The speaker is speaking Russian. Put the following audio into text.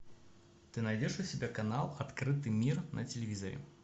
ты найдешь у себя канал открытый мир на телевизоре